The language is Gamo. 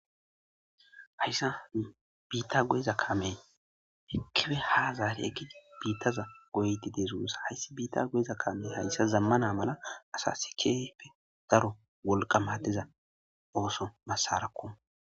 Haysa bitta goyiza Kamey hirkipe ha zari ekedi bittaza Goyide dees gussa bitta goyiza Kamey Hassa zamane malla Asas kehipe wolqa madiza osso Asarako